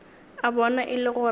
a bona e le gore